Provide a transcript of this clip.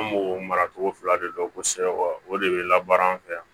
An b'o maracogo fila de dɔn kosɛbɛ wa o de bɛ labaara an fɛ yan